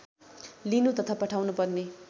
लिनु तथा पठाउनुपर्ने